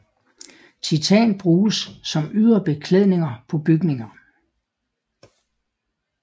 Titan bruges som ydre beklædning på bygninger